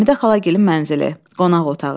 Həmidə xalagilin mənzili, qonaq otağı.